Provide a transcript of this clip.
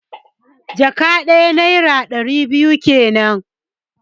One bags means two hundred naira.